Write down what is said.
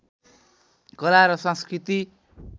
कला र संस्कृति